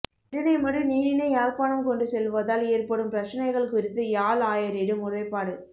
இரணைமடு நீரினை யாழ்ப்பாணம் கொண்டு செல்வதால் ஏற்படும் பிரச்சினைகள் குறித்து யாழ் ஆயரிடம் முறைப்பாடு